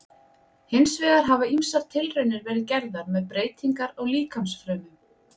Hins vegar hafa ýmsar tilraunir verið gerðar með breytingar á líkamsfrumum.